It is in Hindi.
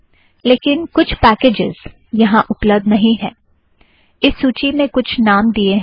लेकिन कुछ पैकेजज़ यहाँ उपलब्ध्द नहीं है - इस सूची में कुछ नाम दिएं हैं